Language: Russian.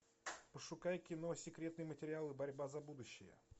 пошукай кино секретные материалы борьба за будущее